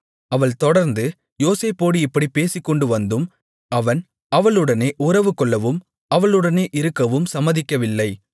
அவள் தொடர்ந்து யோசேப்போடு இப்படிப் பேசிக்கொண்டு வந்தும் அவன் அவளுடனே உறவுகொள்ளவும் அவளுடனே இருக்கவும் சம்மதிக்கவில்லை